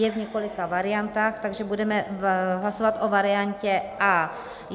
Je v několika variantách, takže budeme hlasovat o variantě A.